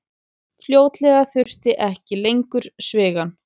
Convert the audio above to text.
Fljótlega þurfti ekki lengur svigann.